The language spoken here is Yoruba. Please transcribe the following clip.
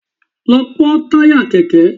Lọ pọ́n táyà Kẹ̀kẹ́!